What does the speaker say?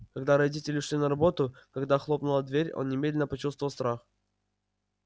когда родители ушли на работу когда хлопнула дверь он немедленно почувствовал страх